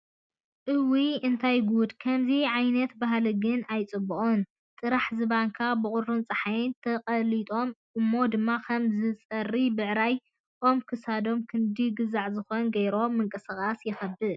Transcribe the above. እውይ እንታይ ጉዱ! ከምዙይ ዓይነት ባህሊ ግን ኣይፅቡቅን ጥራሕ ዝባንካ ብቁርን ፀሓይን ተቀሊጦም እሞ ድማ ከም ዝፀርይ ብዕራይ ኣም ክሳዶም ክንዲ ግዛዕ ዝኸውን ገይሮም ምቅስቃስ ይኸብድ።